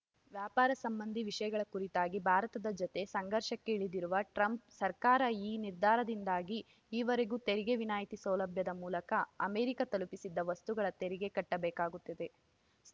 ವ್ಯಾಪಾರ ಸಂಬಂಧಿ ವಿಷಯಗಳ ಕುರಿತಾಗಿ ಭಾರತದ ಜತೆ ಸಂಘರ್ಷಕ್ಕೆ ಇಳಿದಿರುವ ಟ್ರಂಪ್‌ ಸರ್ಕಾರ ಈ ನಿರ್ಧಾರದಿಂದಾಗಿ ಈವರೆಗೂ ತೆರಿಗೆ ವಿನಾಯಿತಿ ಸೌಲಭ್ಯದ ಮೂಲಕ ಅಮೆರಿಕ ತಲುಪುತ್ತಿದ್ದ ವಸ್ತುಗಳು ತೆರಿಗೆ ಕಟ್ಟಬೇಕಾಗುತ್ತದೆ